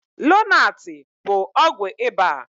Lonaatị bụ ọgwụ ịba.